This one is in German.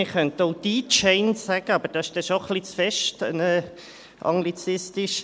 Man könnte auch «DIJane» sagen, aber dies ist dann schon etwas zu stark anglizistisch.